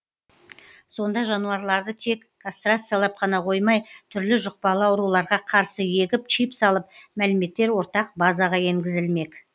сонда жануарларды тек кастрациялап қана қоймай түрлі жұқпалы ауруларға қарсы егіп чип салып мәліметтер ортақ базаға енгізілмек